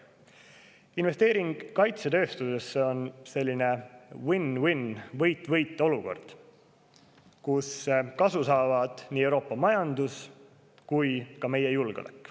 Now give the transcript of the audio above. Investeering kaitsetööstusesse on selline win-win- ehk võit-võit-olukord, kus kasu saavad nii Euroopa majandus kui ka meie julgeolek.